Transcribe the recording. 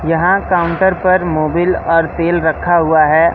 यहां काउंटर पर मोबिल और तेल रखा हुआ है।